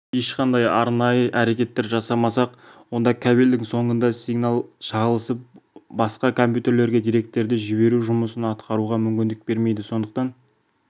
ешқандай арнайы әрекеттер жасамасақ онда кабельдің соңында сигнал шағылысып басқа компьютерлерге деректерді жіберу жұмысын атқаруға мүмкіндік бермейді сондықтан